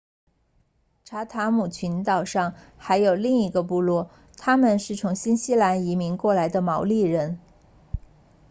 查塔姆群岛上还有另一个部落他们是从新西兰移民过来的毛利人